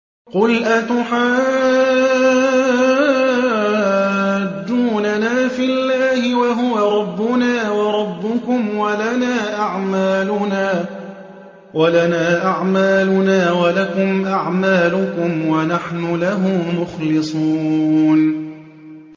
قُلْ أَتُحَاجُّونَنَا فِي اللَّهِ وَهُوَ رَبُّنَا وَرَبُّكُمْ وَلَنَا أَعْمَالُنَا وَلَكُمْ أَعْمَالُكُمْ وَنَحْنُ لَهُ مُخْلِصُونَ